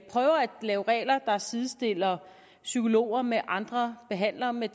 lave regler der sidestiller psykologer med andre behandlere med